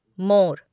मोर